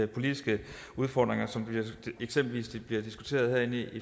politiske udfordringer som eksempelvis bliver diskuteret her i